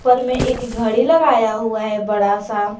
ऊपर में एक घड़ी लगाया हुआ है बड़ा सा।